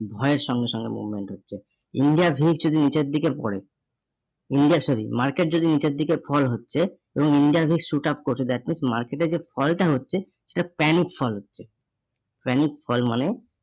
ভয়ের সঙ্গে সঙ্গে movement হচ্ছে। India base যদি নিচের দিকে পরে, India sorry market যদি নিচের দিকে fall হচ্ছে এবং India base shoot up করছে that means market এ যে fall টা হচ্ছে সেটা panic fall হচ্ছে। Panic fall মানে